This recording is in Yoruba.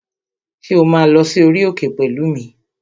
Ṣé o máa lọ sí orí òkè pẹ̀lú mi?